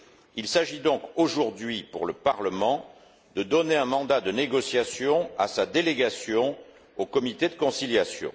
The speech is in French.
Il s'agit donc aujourd'hui pour le Parlement de donner un mandat de négociation à sa délégation au comité de conciliation.